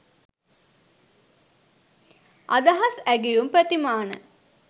අදහස් ඇගයුම් ප්‍රතිමාන